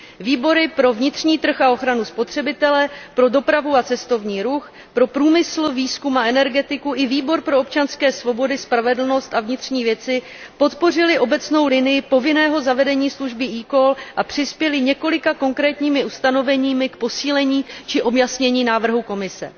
Výbor pro vnitřní trh a ochranu spotřebitelů, Výbor pro dopravu a cestovní ruch, Výbor pro průmysl, výzkum a energetiku a Výbor pro občanské svobody, spravedlnost a vnitřní věci podpořily obecnou linii povinného zavedení služby eCall a přispěly několika konkrétními ustanoveními k posílení či objasnění návrhu Komise.